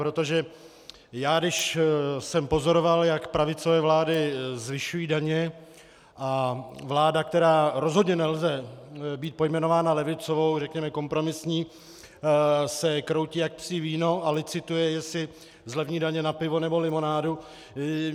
Protože já když jsem pozoroval, jak pravicové vlády zvyšují daně, a vláda, která rozhodně nelze být pojmenovaná levicovou, řekněme kompromisní, se kroutí jak psí víno a licituje, jestli zlevní daně na pivo nebo limonádu...